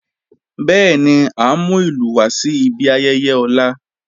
Bẹẹni, à n mú ilù wà sí ìbí ayẹyẹ ọ̀la.